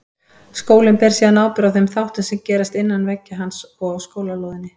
Skólinn ber síðan ábyrgð á þeim þáttum sem gerast innan veggja hans og á skólalóðinni.